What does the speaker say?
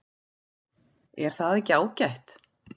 Er það ekki ágætt?